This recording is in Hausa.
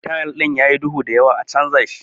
Tayal din yayi duhu da yawa, a chanja shi.